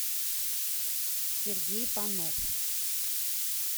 сергей панов